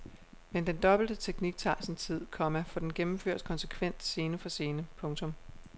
Men den dobbelte teknik tager sin tid, komma for den gennemføres konsekvent scene for scene. punktum